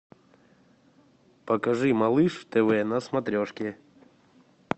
покажи малыш тв на смотрешке